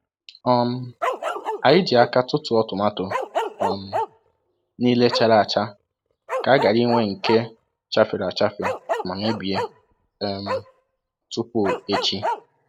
um Anyị ji aka tụtụọ tomato um niile chara acha ka a ghara inwe nke chafere achafe ma mebie um tupu echi.